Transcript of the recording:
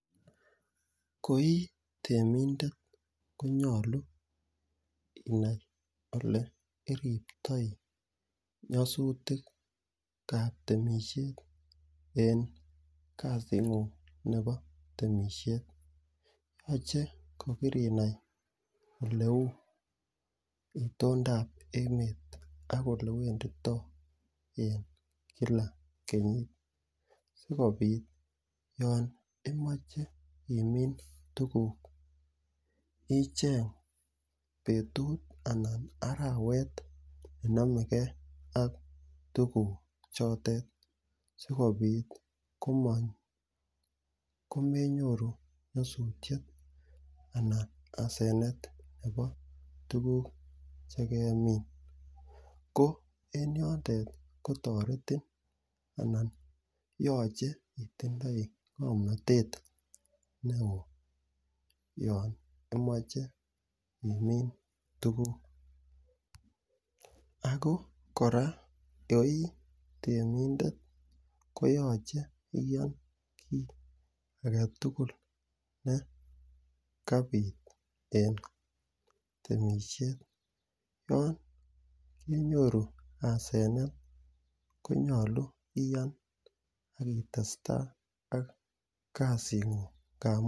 Ko i temindet ko naylu inai ole iriptai nyasutik ap temishet en kasini nepo temishet. Achek ko kire nai ole u itondap emet ak ole wenditai kila kenyit sikopit ya imache imin tuguk icheng' petut anan arawet ne name gei ak tuguchotet asikopit komenyoru nyasutiet anan ko asenet nepo tuguk che kemin ko en yotet ko taretin anan yache itindai ng'amnatet ne oo yan imache imin tuguk. Ako kora yan i temindet koyache iyan kiit age tugul ne kapit eng' temishet. Yan kenyoru asenet konyalu iyan ak itestai ak kasing'ung'.